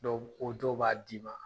O dɔw b'a d'i ma.